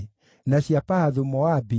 na cia Elamu ciarĩ 1,254